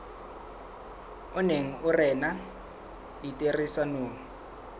o neng o rena ditherisanong